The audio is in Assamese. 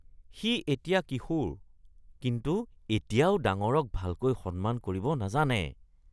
সি এতিয়া কিশোৰ, কিন্তু এতিয়াও ডাঙৰক ভালকৈ সন্মান কৰিব নাজানে।